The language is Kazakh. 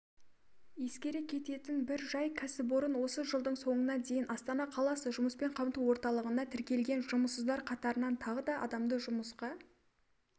ескере кететін бір жай кәсіпорын осы жылдың соңына дейін астана қаласы жұмыспен қамту орталығына тіркелген жұмыссыздар қатарынан тағы да адамды жұмысқа